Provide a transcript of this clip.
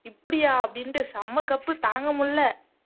இப்படியா அப்படின்னுட்டு செம கப்பு தாங்க முடியலை